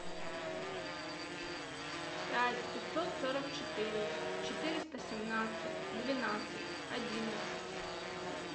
пять пятьсот сорок четыре четыреста семнадцать двенадцать одиннадцать